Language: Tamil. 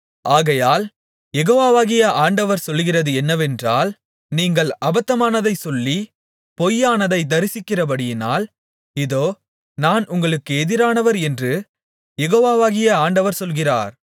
ஆகையால் யெகோவாகிய ஆண்டவர் சொல்லுகிறது என்னவென்றால் நீங்கள் அபத்தமானதைச் சொல்லி பொய்யானதைத் தரிசிக்கிறபடியினால் இதோ நான் உங்களுக்கு எதிரானவர் என்று யெகோவாகிய ஆண்டவர் சொல்லுகிறார்